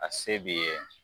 A se b'i ye.